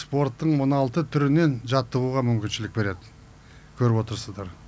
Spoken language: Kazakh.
спорттың он алты түрінен жаттығуға мүмкіншілік береді көріп отырсыздар